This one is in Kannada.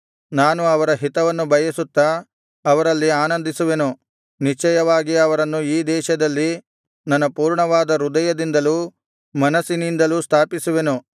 ನಾನು ಅವರ ಹಿತವನ್ನು ಬಯಸುತ್ತಾ ಅವರಲ್ಲಿ ಆನಂದಿಸುವೆನು ನಿಶ್ಚಯವಾಗಿ ಅವರನ್ನು ಈ ದೇಶದಲ್ಲಿ ನನ್ನ ಪೂರ್ಣವಾದ ಹೃದಯದಿಂದಲೂ ಮನಸ್ಸಿನಿಂದಲೂ ಸ್ಥಾಪಿಸುವೆನು